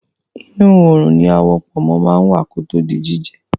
Inu oòrùn ni awọ pọ̀nmó máa ń wà kí ó tó di jíjẹ